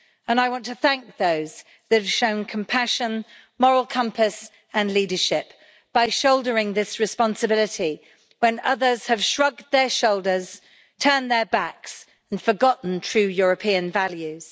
I want to thank those that have shown compassion, moral compass and leadership by shouldering this responsibility when others have shrugged their shoulders, turned their back and forgotten true European values.